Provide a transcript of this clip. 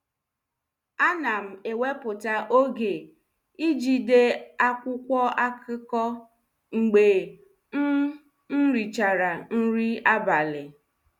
Anam eweputa oge iji dee akwụkwo akụkọ mgbe m m richara nri abali